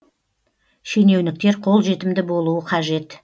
шенеуніктер қолжетімді болуы қажет